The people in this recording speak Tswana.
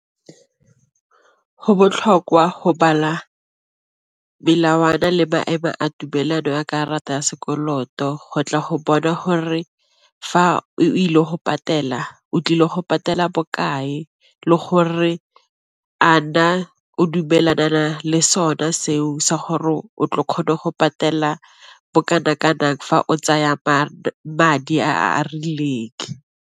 Go botlhokwa go bala melawana le maemo a tumelano a karata ya sekoloto go tla go bona gore fa o ile go patela o tlile go patela bokae le gore a na o dumelana le sona seo sa gore o tle o kgone go patela fa o tsaya kae madi a a rileng.